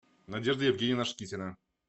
надежда евгеньевна шкитина